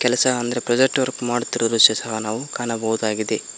ಸಹ ಅಂದ್ರೆ project work ಮಾಡುತ್ತಿರುವ ದೃಶ್ಯ ಸಹ ನಾವು ಕಾಣಬಹುದಾಗಿದೆ.